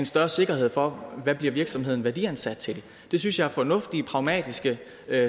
større sikkerhed for hvad virksomheden bliver værdiansat til det synes jeg er fornuftige og pragmatiske